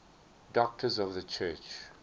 doctors of the church